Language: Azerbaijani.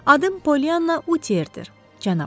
Adım Pollyanna Utiyerdır, cənab.